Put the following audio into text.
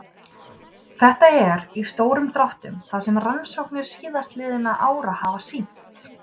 Þetta er, í stórum dráttum, það sem rannsóknir síðastliðinna ára hafa sýnt.